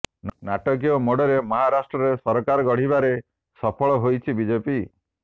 ନାଟକୀୟ ମୋଡରେ ମହାରାଷ୍ଟ୍ରରେ ସରକାର ଗଢିବାରେ ସଫଳ ହୋଇଛି ବିଜେପି